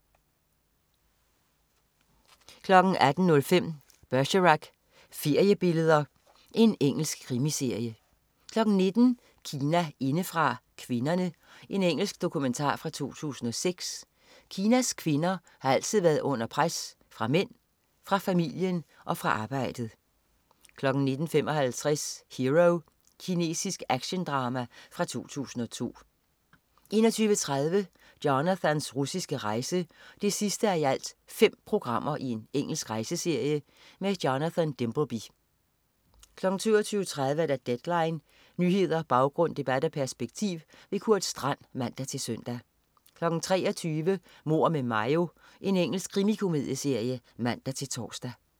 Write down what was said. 18.05 Bergerac: Feriebilleder. Engelsk krimiserie 19.00 Kina indefra: Kvinderne. Engelsk dokumentar fra 2006. Kinas kvinder har altid været under pres, fra mænd, fra familien og fra arbejdet 19.55 Hero. Kinesisk actiondrama fra 2002 21.30 Jonathans russiske rejse 5:5. Engelsk rejseserie. Jonathan Dimbleby 22.30 Deadline. Nyheder, baggrund, debat og perspektiv. Kurt Strand (man-søn) 23.00 Mord med Mayo. Engelsk krimikomedieserie (man-tors)